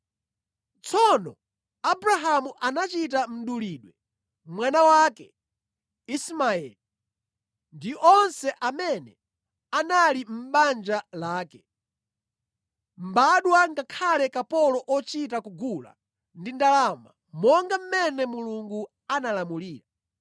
Tsono Abrahamu anachita mdulidwe mwana wake Ismaeli ndi onse amene anali mʼbanja lake, mbadwa ngakhale kapolo ochita kugula ndi ndalama, monga mmene Mulungu analamulira.